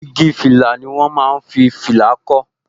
Igi fìlà ni wọn máa ń fi fìlà kó